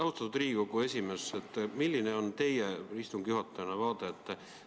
Austatud Riigikogu esimees, milline on teie kui istungi juhataja seisukoht?